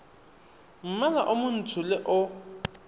mmala o montsho le o